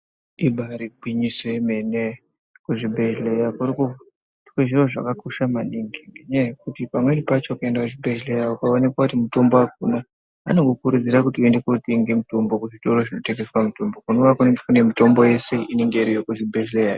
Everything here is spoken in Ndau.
Ibari gwinyiso yemene kuzvibhadhleya kurukuitwe zvinhu zvakakosha maningi ngenyaya yekuti pamweni pacho ukaenda kuchibhendhleya ukaonekwa kuti mutombo akuna anokukurudzira kuti uende kotenge mutombo kuzvitoro zvinotengeswa mitombo kunenge kune mitombo yese inenge iriku zvibhedhleya